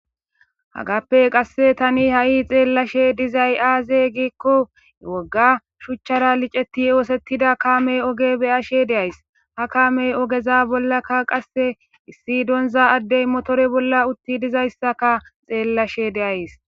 Haggappe thani ha7i xeellashee dizay aazee giikko wogga shuchchaara liceththi ooseththida kaamee ogee be7ashee de7ays; ha kaamee ogeza bollakka qasse issi donzza addee mothore bolla uththidi dizayssaka xeellashee de7ays.